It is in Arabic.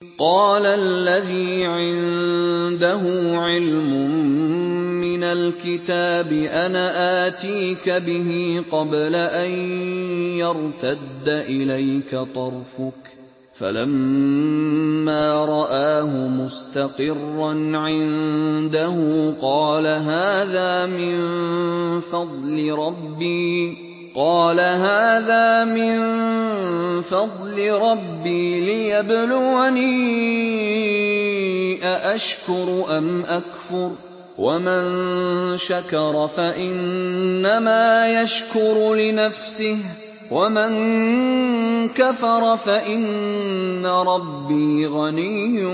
قَالَ الَّذِي عِندَهُ عِلْمٌ مِّنَ الْكِتَابِ أَنَا آتِيكَ بِهِ قَبْلَ أَن يَرْتَدَّ إِلَيْكَ طَرْفُكَ ۚ فَلَمَّا رَآهُ مُسْتَقِرًّا عِندَهُ قَالَ هَٰذَا مِن فَضْلِ رَبِّي لِيَبْلُوَنِي أَأَشْكُرُ أَمْ أَكْفُرُ ۖ وَمَن شَكَرَ فَإِنَّمَا يَشْكُرُ لِنَفْسِهِ ۖ وَمَن كَفَرَ فَإِنَّ رَبِّي غَنِيٌّ